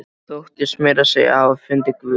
Þóttist meira að segja hafa fundið Guð!